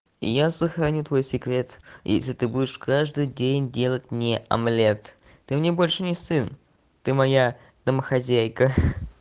я сохраню твой секрет если ты будешь каждый день делать мне омлет ты мне больше не сын ты моя домохозяйка